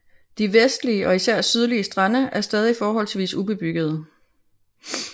De vestlige og især sydlige strande er stadig forholdsvis ubebyggede